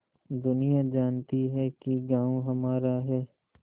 दुनिया जानती है कि गॉँव हमारा है